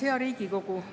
Hea Riigikogu!